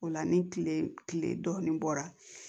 O la ni kile dɔɔnin bɔra